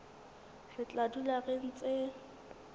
re tla dula re ntse